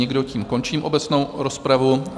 Nikdo, tím končím obecnou rozpravu.